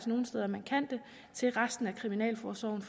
nogle steder man kan det til resten af kriminalforsorgen